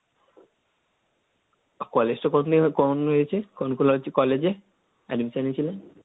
কলেজটা কতদিন আগে কম হয়েছে? কোন কলেজে কলেজে? Admission নিয়ে ছিলেন?